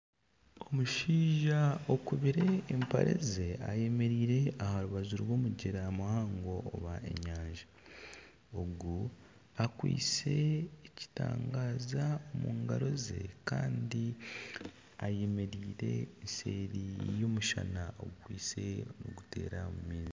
Omushaija okubire empare ze ayemereire aha rubaju rw'omugyera muhango oba enyanja . Ogu akwaitse ekitangaazo omungaro ze Kandi ayemereire seeri y'omushana ogukwaitse niguteera omu maizi.